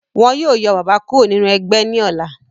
Wọ́n yó yọ bàbá kúrò nínú ẹgbẹ́ ní ọ̀la.